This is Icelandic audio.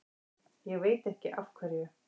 Ég veit ekki af hverju.